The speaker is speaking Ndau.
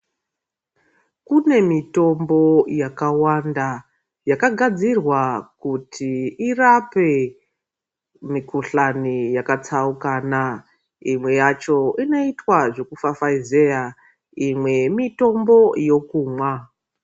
Kune mutombo yakawanda yakagadzirwa kuti irape mukuhlani yakatsaukana imwe yacho inoita zveku fafaizeya imwe mitombo yekumwa.